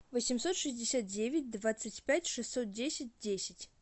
восемьсот шестьдесят девять двадцать пять шестьсот десять десять